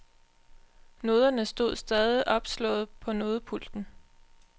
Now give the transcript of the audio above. Noderne stod stadig opslået på nodepulten.